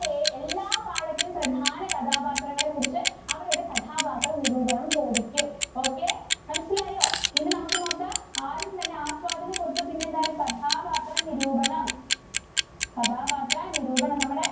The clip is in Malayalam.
എല്ലാ പാഠത്തിലും പ്രധാന കഥാപാത്രങ്ങളെ കുറിച്ച് അവരുടെ കഥാപാത്ര നിരൂപണം ചോദിക്കും. okay, മനസ്സിലായോ? ഇനി നമുക്ക് നോക്കാം ആദ്യം തന്നെ ആസ്വാദനകുറിപ്പ് പിന്നെ എന്താണ് കഥാപാത്ര നിരൂപണം. കഥാപാത്ര നിരൂപണം നമ്മുടെ